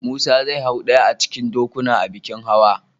Musa zai hau ɗaya a cikin dokunan a bikin hawa.